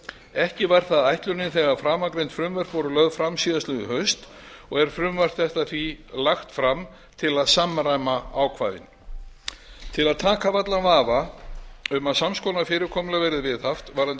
ekki var það ætlunin þegar framangreind frumvörp voru lögð fram síðastliðið haust og er frumvarp þetta því lagt fram til að samræma ákvæðin til að taka af allan vafa um að sams konar fyrirkomulag verði viðhaft varðandi